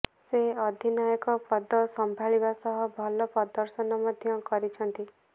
ସେ ଅଧିନାୟକ ପଦ ସମ୍ଭାଳିବା ସହ ଭଲ ପ୍ରଦର୍ଶନ ମଧ୍ୟ କରିଛନ୍ତି